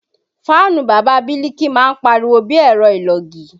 Fáànù Bàbá Biliki máa ń pariwo bí ẹ̀rọ ìlògì